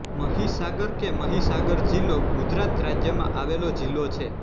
મહીસાગર કે મહિસાગર જિલ્લો ગુજરાત રાજ્યમાં આવેલો જિલ્લો છે